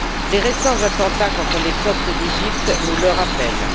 Les récents attentats contre les coptes d'Égypte nous le rappellent.